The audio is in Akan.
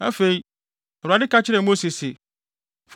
Afei, Awurade ka kyerɛɛ Mose se,